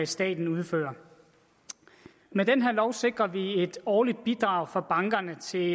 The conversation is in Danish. staten udfører med den her lov sikrer vi et årligt bidrag fra bankerne til